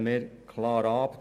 Das lehnen wir klar ab.